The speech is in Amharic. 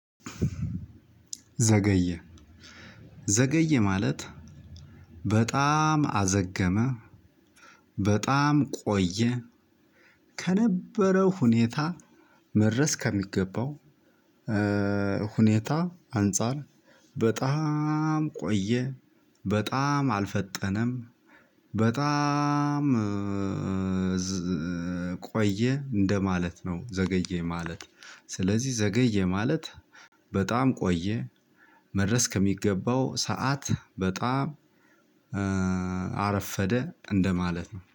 ዘገየ። ዘገየ። ማለት በጣም አዘገመ። በጣም ቆየ ከነበረው ሁኔታ። መድረስ ከሚገባው። ሁኔታ አንፃር በጣም ቆየ። በጣም አልፈጠነም። በጣም ቆየ እንደማለት ነው። ዘገየ ማለት ስለዚህ ዘገየ ማለት በጣም ቆየ። መድረስ ከሚገባው ሰዓት በጣም አረፈደ። እንደማለት ነው